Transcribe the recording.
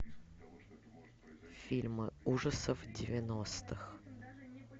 фильмы ужасов девяностых